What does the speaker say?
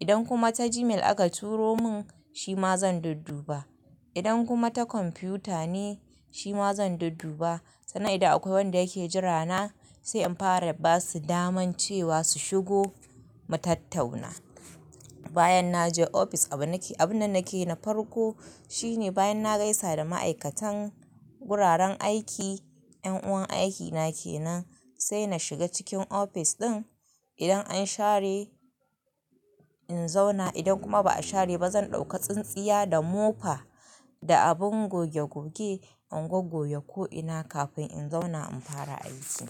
Idan kuma ta Gmail aka turo mun, shi ma zan dudduba. Idan kuma ta kwamfiyuta ne, shi ma zan dudduba. Sannan idan akwai wanda yake jira na sai in fara ba su daman cewa su shigo mu tattauna. Bayan naje ofis abun nake, abun da nake na farko shine bayan na gaisa da ma'aikatan wuraren aiki, yan uwan aikina kenan sai na shiga cikin ofis ɗin. Idan an share in zauna, idan kuma ba a share ba zan ɗauka tsintsiya da mofa da abin gogge-gogge, ingogge ko'ina kafin in zauna in fara aiki.